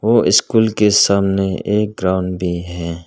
व स्कूल के सामने एक ग्राउंड भी है।